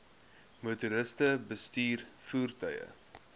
motoriste bestuur voertuie